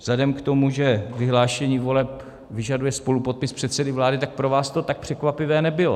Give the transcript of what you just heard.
Vzhledem k tomu, že vyhlášení voleb vyžaduje spolupodpis předsedy vlády, tak pro vás to tak překvapivé nebylo.